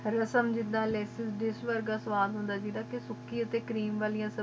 lesson ਜਿਡਾ ਲੇਸਿਸ dish ਵੇਰਗਾ ਸਵਦੇ ਹੁਣ ਦਾ ਗੁਈਦਾ ਕ ਸੁਖਏ ਤੇ ਕ੍ਰੇਆਮੇ ਵਾਲਿਆਯ ਸਬ੍ਜਿਯਾੰ ਮੇਅਤ ਦੇ ਪਕਵਾਨ ਨਾਰਿਯਲ ਅਦਾਰਿਕ ਚਾਤ੍ਨਿਯਾਂ ਹਾਨਾ ਓ